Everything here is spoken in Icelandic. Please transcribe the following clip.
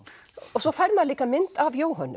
svo fær maður líka mynd af Jóhönnu